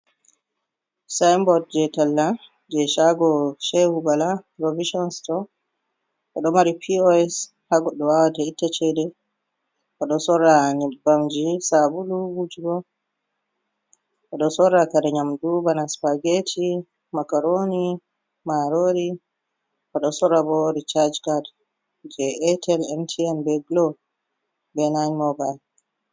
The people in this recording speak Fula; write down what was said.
Sainbod jei talla, jei shago Shehu Bala provishon sto, o ɗo mari POS, ha goɗɗo wawata ittata chede. O ɗo sora nyebbamji, sabulu wujugo. O ɗo sora kare nyamdu bana spageti, makaroni, marori. O ɗo sora bo richaaj cad jei MTN, Glo, be 9 mobile.